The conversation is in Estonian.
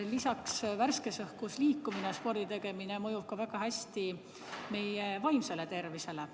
Lisaks, värskes õhus liikumine ja sporditegemine mõjub väga hästi ka meie vaimsele tervisele.